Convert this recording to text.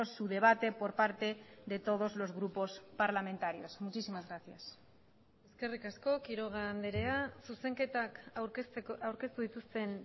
su debate por parte de todos los grupos parlamentarios muchísimas gracias eskerrik asko quiroga andrea zuzenketak aurkeztu dituzten